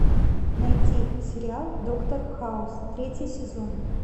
найти сериал доктор хаус третий сезон